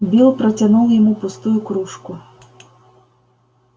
билл протянул ему пустую кружку